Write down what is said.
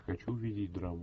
хочу увидеть драму